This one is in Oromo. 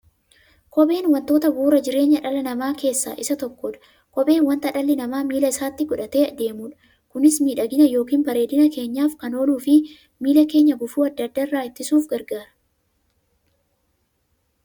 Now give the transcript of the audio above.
Kopheen wantoota bu'uura jireenya dhala namaa keessaa isa tokkodha. Kopheen wanta dhalli namaa miilla isaatti godhatee deemudha. Kunis miidhagani yookiin bareedina keenyaf kan ooluufi miilla keenya gufuu adda addaa irraa ittisuuf gargaara.